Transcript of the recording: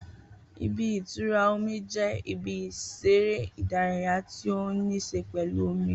Ibi-itura omi jẹ ibi ìseré ìdárayá tí o ní ṣe pẹlú omi